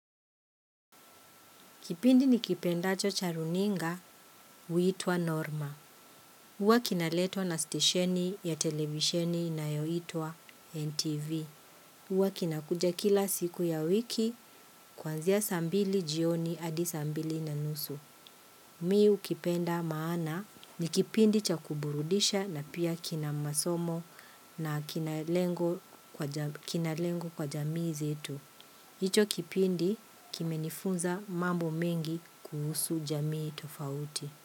Kipindi nikipendacho cha runinga huitwa Norma. Uwa kinaletwa na stasheni ya televisheni inayoitwa NTV. Huwa kinakuja kila siku ya wiki, kuanzia saa mbili jioni hadi saa mbili na nusu. Mimi hukipenda maana ni kipindi cha kuburudisha na pia kina masomo na kina lengo kwa jamii zetu hicho kipindi kimenifunza mambo mengi kuhusu jamii tofauti.